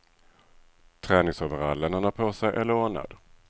Träningsoverallen han har på sig är lånad.